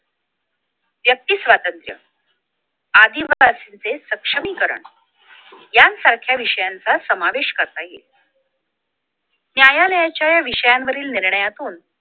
व्यक्ती स्वातंत्र्य आदिवासींचे सक्षमीकरण यांसारख्या विषयांचा समावेश करता येईल न्यायालयाच्या या विषयावरील निर्णयातून